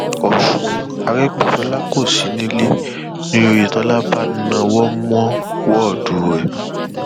ọsùn àrègbèsọlá kò sí nílẹ ni ọyẹtọlá bá nà án mọ wọọdù rẹ